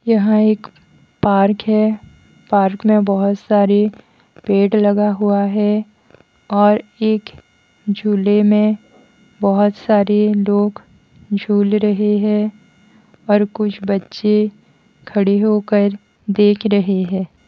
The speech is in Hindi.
यहाँ एक पार्क है पार्क में बहुत सारे पेड़ लगा हुआ है और एक झूले में बहुत सारे लोग झूल रहे हैं और कुछ बच्चे खड़े होकर देख रहे हैं।